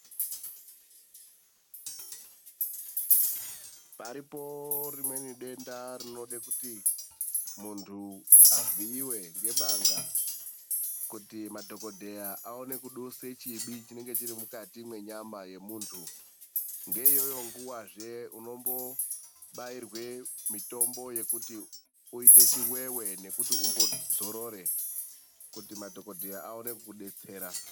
Paripo rimweni denda rinoda kuti muntu avhiiwe ngebanga kuti madhokodheya aone kudusa chibi chinenge chiri mukati menyama yemuntu. Ngeiyoyo nguvazve unombo bairwe mutombo yekuti uite chiveve, nekuti umbodzorere kuti madhokoteya aone kukudetsera.